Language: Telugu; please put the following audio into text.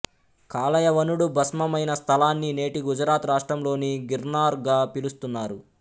కాలయవనుడు భస్మమైన స్థలాన్ని నేటి గుజరాత్ రాష్ట్రంలోని గిర్నార్ గా పిలుస్తున్నారు